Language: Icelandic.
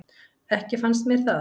Ekki fannst mér það.